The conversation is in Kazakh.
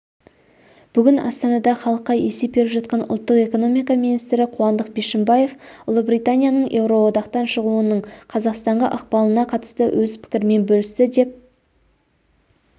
бүгін астанада халыққа есеп беріп жатқан ұлттық экономика министрі қуандық бишімбаев ұлыбританияның еуроодақтан шығуының қазақстанға ықпалына қатысты өз пікірімен бөлісті деп